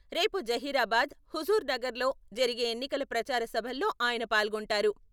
రేపు జహీరాబాద్, హుజూర్ నగర్ లో జరిగే ఎన్నికల ప్రచార సభల్లో ఆయన పాల్గొంటారు.